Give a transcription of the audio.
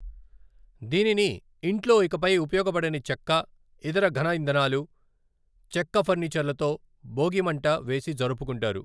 దీనిని ఇంట్లో ఇకపై ఉపయోగపడని చెక్క, ఇతర ఘన ఇంధనాలు, చెక్క ఫర్నిచర్లతో బోగి మంట వేసి జరుపుకుంటారు.